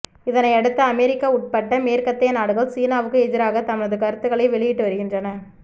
இதனையடுத்து அமெரிக்கா உட்பட்ட மேற்கத்தைய நாடுகள் சீனாவுக்கு எதிராக தமது கருத்துக்களை வெளியிட்டு வருகின்றன